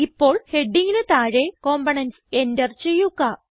ഇപ്പോൾ ഹെഡിംഗിന് താഴെ കമ്പോണന്റ്സ് എന്റർ ചെയ്യുക